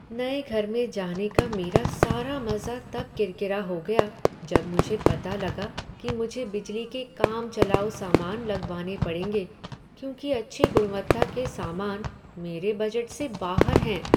नए घर में जाने का मेरा सारा मज़ा तब किरकिरा हो गया जब मुझे पता लगा कि मुझे बिजली के काम चलाऊ सामान लगवाने पड़ेंगे क्योंकि अच्छी गुणवत्ता के सामान मेरे बजट से बाहर हैं।